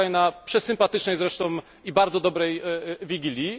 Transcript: wczoraj na przesympatycznej zresztą i bardzo dobrej wigilii.